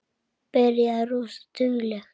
Byrjaði rosa dugleg.